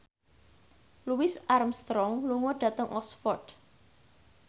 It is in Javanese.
Louis Armstrong lunga dhateng Oxford